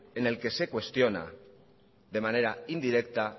en el que se cuestiona de manera indirecta